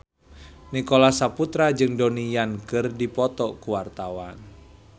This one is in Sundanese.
Nicholas Saputra jeung Donnie Yan keur dipoto ku wartawan